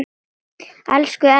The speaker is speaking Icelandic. Elsku Elvar okkar.